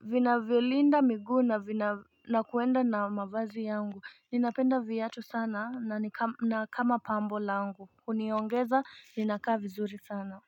vinavyo linda miguu na vina nakuenda na mavazi yangu ninapenda viatu sana na kama pambo langu huniongeza ninakaa vizuri sana.